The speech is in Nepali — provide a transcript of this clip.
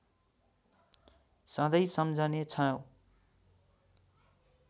सधैँ सम्झने छौँ